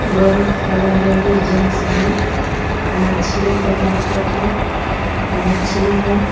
बहुत सारा ladies gents हैं मछली का मार्केट है मछली है।